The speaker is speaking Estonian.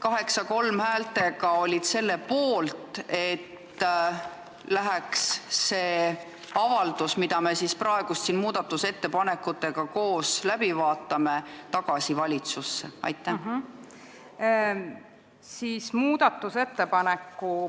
häältega 8 : 3 olid selle poolt, et see avaldus, mida me siin praegu koos muudatusettepanekutega läbi vaatame, läheks tagasi valitsusse?